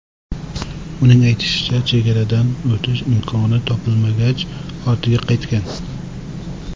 Uning aytishicha, chegaradan o‘tish imkoni topilmagach, ortiga qaytgan.